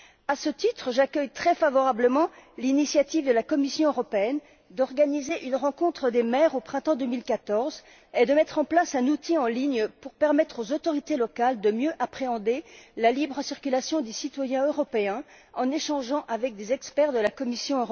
À ce titre, j'accueille très favorablement l'initiative de la Commission européenne d'organiser une rencontre des maires au printemps 2014 et de mettre en place un outil en ligne pour permettre aux autorités locales de mieux appréhender la libre circulation des citoyens européens en échangeant avec des experts de la Commission.